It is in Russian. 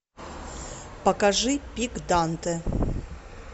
покажи пик данте